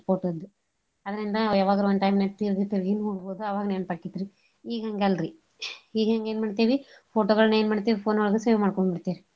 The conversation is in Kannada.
Photos ಅದ್ರಿಂದ ಯವಾಗರ one time ನ್ಯಾಗ ತೀರ್ಗಿ ತೀರ್ಗಿ ನೋಡ್ಬೋದು ಅವಾಗ್ ನೆನ್ಪ ಆಕಿತ್ರಿ ಈಗ ಹಂಗಲ್ರಿ ಈಗ ಹಿಂಗ ಎನ್ ಮಾಡ್ತೀವಿ photo ಗಳ್ನ ಎನ್ ಮಾಡ್ತೀವಿ phone ಒಳ್ಗ save ಮಾಡ್ಕೊಂಡ್ಬಿಡ್ತೇವ್.